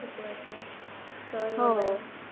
शिकवायचे